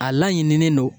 A laɲininen don